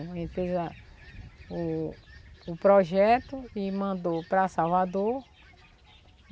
A gente fez a o o projeto e mandou para Salvador.